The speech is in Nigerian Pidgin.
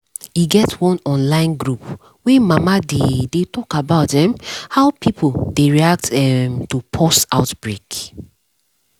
e get one online group wey mama dey dey talk about um how pipo dey react um to pause outbreak